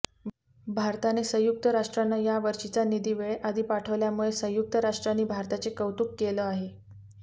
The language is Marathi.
भारताने संयुक्त राष्ट्रांना यावर्षीचा निधी वेळेआधी पाठवल्यामुळे संयुक्त राष्ट्रांनी भारताचे कौतुक केलं आहे